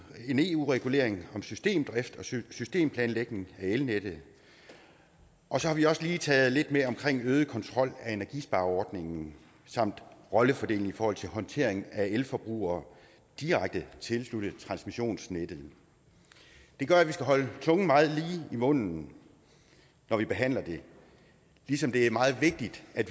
en eu regulering om systemdrift og systemplanlægning af elnettet og så har vi også lige taget lidt med om øget kontrol af energispareordningen samt rollefordeling i forhold til håndtering af elforbrugere direkte tilsluttet transmissionsnettet det gør at man skal holde tungen meget lige i munden når vi behandler det ligesom det er meget vigtigt at